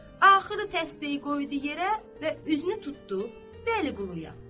Axırı təsbehi qoydu yerə və üzünü tutdu Vəliquluya.